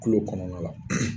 Kulo kɔnɔna la